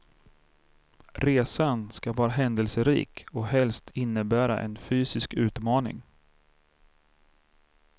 Resan ska vara händelserik och helst innebära en fysisk utmaning.